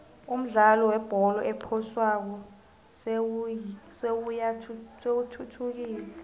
umdlalo webholo ephoswako seyithuthukile